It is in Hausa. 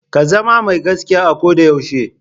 Ka zama mai gaskiya a ko da yaushe.